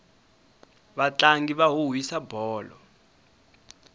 vatlangi va huhwisa bolo